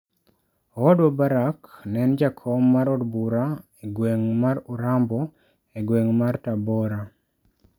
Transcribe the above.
Owadwa Barack ne en jakom mar od bura e gweng ' mar Urambo e gweng ' mar Tabora.